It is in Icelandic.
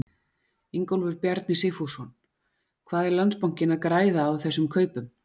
Ingólfur Bjarni Sigfússon: Hvað er Landsbankinn að græða á þessum kaupum?